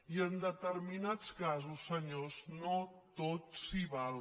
i en determinats casos senyors no tot s’hi val